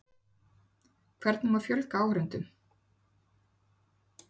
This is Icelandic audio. Hvernig má fjölga áhorfendum?